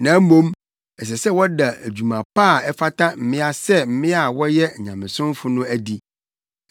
Na mmom ɛsɛ sɛ wɔda adwuma pa a ɛfata mmea sɛ mmea a wɔyɛ nyamesomfo no adi.